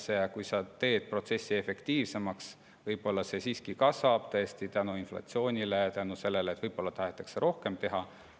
Aga isegi kui sa teed protsessi efektiivsemaks, võib-olla see kulu siiski kasvab inflatsiooni tõttu ja selle tõttu, et tegelikult oleks tahetud rohkem teha.